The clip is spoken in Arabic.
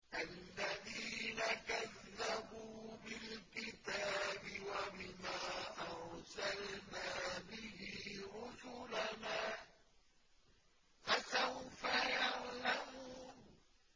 الَّذِينَ كَذَّبُوا بِالْكِتَابِ وَبِمَا أَرْسَلْنَا بِهِ رُسُلَنَا ۖ فَسَوْفَ يَعْلَمُونَ